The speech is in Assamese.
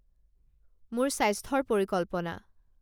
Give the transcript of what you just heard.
মোৰ স্বাস্থ্যৰ পৰিকল্পনা